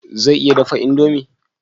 Zai iya dafa indomi?